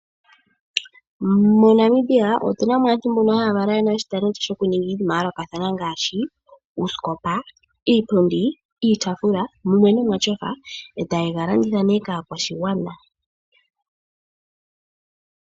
MoNamibia otunamo aantu mbona haya kala yena oshitalendi shoku ninga iinima ya yolokathana ngashi uuskopa, iipundi, iitafula mumwe noma tyofa etaye galanditha ne kaakwashigwana.